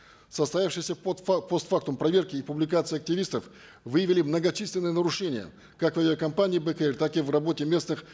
в состоявшейся пост фактум проверке и публикации активистов выявили многочисленные нарушения как в авиакомпании бек эйр так и в работе местных